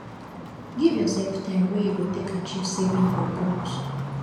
give yourself time wey you go take achieve saving your goal